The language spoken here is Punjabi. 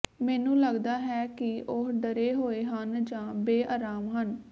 ਮੈਨੂੰ ਲਗਦਾ ਹੈ ਕਿ ਉਹ ਡਰੇ ਹੋਏ ਹਨ ਜਾਂ ਬੇਆਰਾਮ ਹਨ